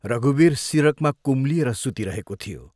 रघुवीर सिरकमा कुम्लिएर सुतिरहेको थियो।